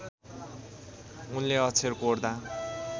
उनले अक्षर कोर्दा